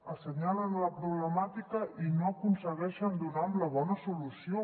assenyalen la problemàtica i no aconsegueixen donar amb la bona solució